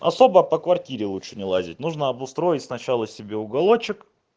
особо по квартире лучше не лазить нужно обустроить сначала себе уголочек